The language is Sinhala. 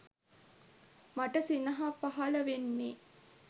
මට සිනහ පහල වෙන්නේ